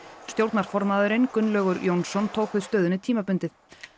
stjórnarformaðurinn Gunnlaugur k Jónsson tók við stöðunni tímabundið